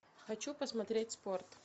хочу посмотреть спорт